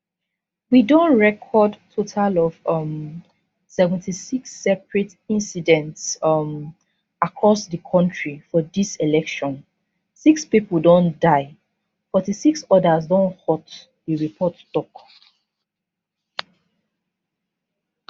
we don record total of um 76 separate incidents um across di kontri for dis election 6 pipo don die 46 odas don hurt di report tok